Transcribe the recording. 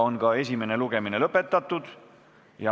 Esimene lugemine on lõpetatud.